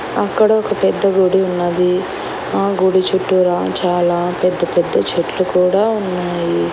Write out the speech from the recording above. అక్కడ ఒక పెద్ద గుడి ఉన్నది ఆ గుడి చుట్టూరా చాలా పెద్ద పెద్ద చెట్లు కూడా ఉన్నాయి.